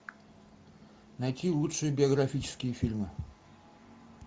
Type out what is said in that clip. найти лучшие биографические фильмы